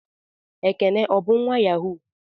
Ekene o bu nwa Yahoo?